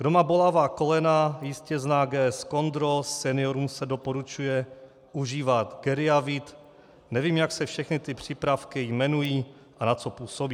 Kdo má bolavá kolena, jistě zná GS Condro, seniorům se doporučuje užívat Geriavit, nevím, jak se všechny ty přípravky jmenují a na co působí.